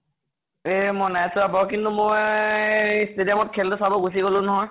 এ মই নাই চোৱা বাৰু । কিন্তু মই এ stadium ত খেল তো চাব গুছি গʼলো নহয় ।